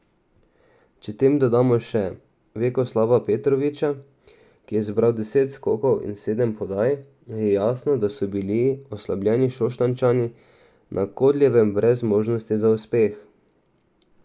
Če tem dodamo še Vjekoslava Petrovića, ki je zbral deset skokov in sedem podaj, je jasno, da so bili oslabljeni Šoštanjčani na Kodeljevem brez možnosti za uspeh.